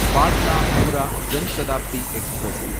Patna Howrah Janshatabdi express